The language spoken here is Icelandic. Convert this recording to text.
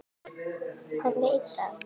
Hann veit það.